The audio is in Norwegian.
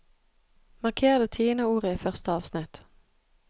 Marker det tiende ordet i første avsnitt